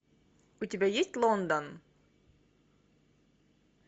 у тебя есть лондон